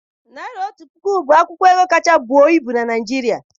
Naịra otu puku bụ akwụkwọ ego kacha buo ibu na Naịjirịa.